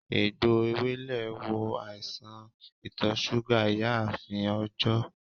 Egbò Ewèlè wo àìsàn ìtò súgà ìyáààfin Òjó